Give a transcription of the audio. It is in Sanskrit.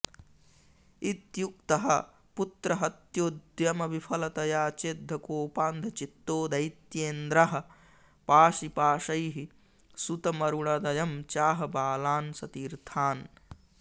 इत्युक्तः पुत्रहत्योद्यमविफलतया चेद्धकोपान्धचित्तो दैत्येन्द्रः पाशिपाशैः सुतमरुणदयं चाह बालान् सतीर्थ्यान्